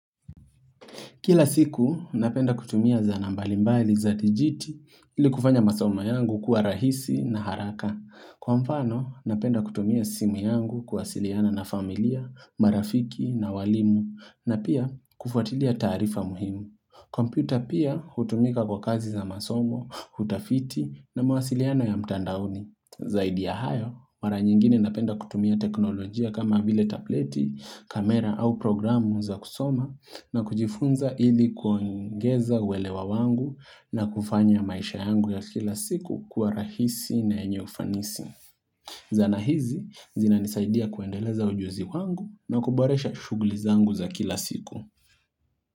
Kila siku, napenda kutumia zanaa mbalimbali za dijiti ili kufanya masomo yangu kuwa rahisi na haraka. Kwa mfano, napenda kutumia simu yangu kuwasiliana na familia, marafiki na walimu na pia kufuatilia taarifa muhimu. Kompyuta pia hutumika kwa kazi za masomo, utafiti na mawasiliano ya mtandakni. Zaidi ya hayo, mara nyingine napenda kutumia teknolojia kama vile tableti, kamera au programu za kusoma na kujifunza hili kuongeza uwelewa wangu na kufanya maisha yangu ya kila siku kuwa rahisi na yenye ufanisi. Zana hizi, zina nisaidia kuendeleza ujuzi wangu na kuboresha shughuli zangu za kila siku.